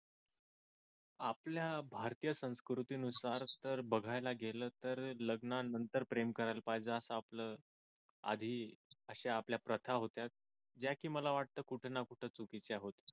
आपल्या भारतीय संस्कृती नुसार जर बघायला गेलं तर लग्नानंतर प्रेम करायला पाहिजे असं आपल्याला आधी अशा आपल्या प्रथा होत्या ज्या की मला वाटत कुठं ना कुठं चुकीच्या होत्या